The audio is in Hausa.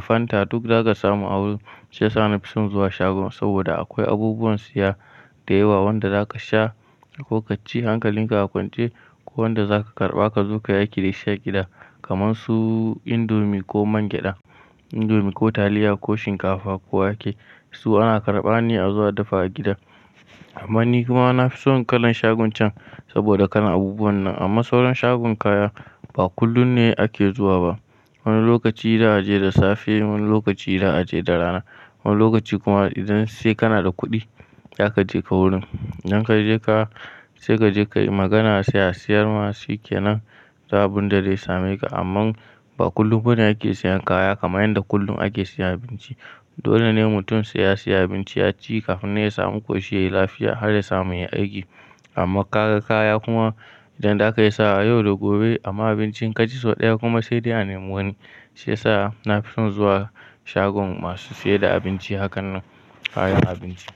Fanta duk za ka samu a wurin. Shi ya sa na fi son zuwa shagon saboda akwai abubuwan siya. Da yawa wanda za ka sha ko ka ci hankalin ka a kwance ko wanda za ka karɓa ka zo kai aiki da shi a gida kaman su indomi ko man gyaɗa, indomi ko taliya ko shinkafa ko yake. Su ana karɓa ne a zo a dafa a gida. Amman ni kuma na fi son kalan shagon can saboda kalan abubuwan nan. Amma sauran shagon kaya ba kullum ne ake zuwa ba. Wani lokaci za a je da safe, wani lokaci za a je da rana, wani lokaci kuma idan sai kana da kuɗi za ka je ka wurin. Idan ka je ka, sai ka je kai magana sai a siyar ma shikenan ba abin da zai same ka. Amman ba kullum bane ake siyan kaya kaman yanda kullum ake siya abinci. Dole ne mutum sai ya siya abinci ya ci kafin nan ya samu ƙoshi yai lafiya har ya samu yai aiki. Amma ka ga kaya kuma idan za ka iya sawa yau da gobe amma abinci in ka ci sau ɗaya kuma sai dai a nemi wani. Shi yasa na fi son zuwa shagon masu sai da abinci hakan nan kayan abinci.